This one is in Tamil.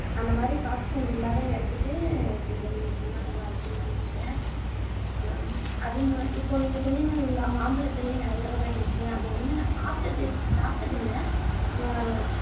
அந்த மாதிரி காத்து sound இல்லாத இடத்துக்கு கொஞ்சம் நீங்க போனா நல்லா இருக்கும்னு நான் நினைக்கிறேன் ஹம் அதும இப்போ நீங்க சொன்னீங்க இல்லைங்களா மாம்பழத்திலேயே நிறைய வகை இருக்குன்னு அதை வந்து நான் சாப்பிட்டது சாப்பிட்டது இல்லை வ